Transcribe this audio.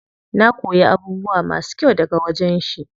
Na koyi abubuwa masu kyau daga wajen shi.